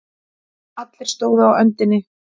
Allir stóðu á öndinni.